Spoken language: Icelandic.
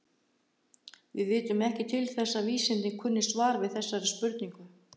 Við vitum ekki til þess að vísindin kunni svar við þessari spurningu.